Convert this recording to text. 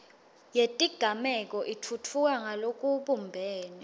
yetigameko itfutfuka ngalokubumbene